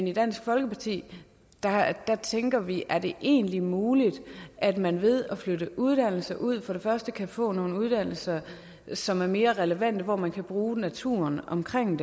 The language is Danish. i dansk folkeparti tænker vi er det egentlig muligt at man ved at flytte uddannelser ud kan få nogle uddannelser som er mere relevante og hvor man kan bruge naturen omkring